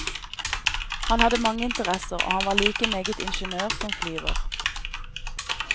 Han hadde mange interesser, og han var like meget ingeniør som flyver.